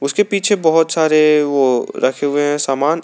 उसके पीछे बहोत सारे वो रखे हुए हैं समान।